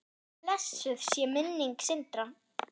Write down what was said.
Blessuð sé minning Sindra.